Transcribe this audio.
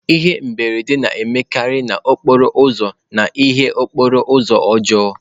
Ihe mberede na-emekarị n'okporo ụzọ n'ihi okporo ụzọ ọjọọ.